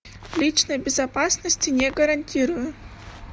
личной безопасности не гарантирую